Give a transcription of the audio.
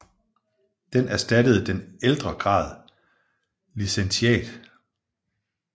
Den erstattede den ældre grad licentiat